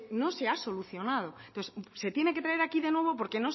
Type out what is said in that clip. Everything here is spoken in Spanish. no se ha solucionado entonces se tiene que traer aquí de nuevo porque